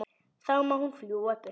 Þá má hún fljúga burtu.